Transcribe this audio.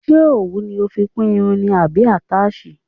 Ṣé òwú ni o fi kún irun ni àbí àtáàsì.